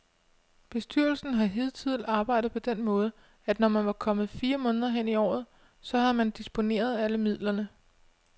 Bestyrelsen har hidtil arbejdet på den måde, at når man var kommet fire måneder hen i året, så havde man disponeret alle midlerne.